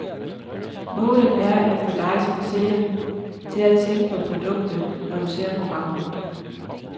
Målet er, at få dig som seer til at tænke på produktet, når du ser programmet.